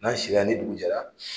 N'a sira ni dugu jɛra